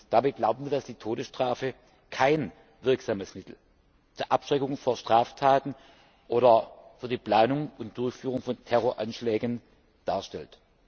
Dabei glauben wir, dass die Todesstrafe kein wirksames Mittel zur Abschreckung vor Straftaten oder vor der Planung und Durchführung von Terroranschlägen darstellt.